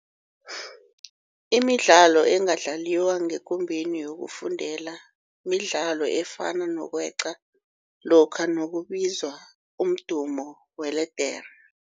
Imidlalo engadlaliwa ngekumbeni yokufundela midlalo efana nokweqa lokha nakubizwa umdumo weledere.